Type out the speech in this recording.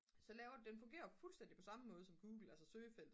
så laver den fungerer jo på fuldstændig samme måde som google altså søgefelt